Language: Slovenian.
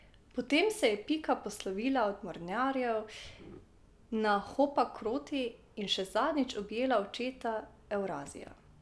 Potem se je Pika poslovila od mornarjev na Hopakroti in še zadnjič objela očeta Evrazija.